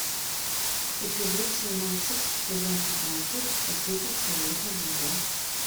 эпизод семнадцать сезон пятнадцать последний человек на земле